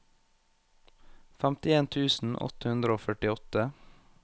femtien tusen åtte hundre og førtiåtte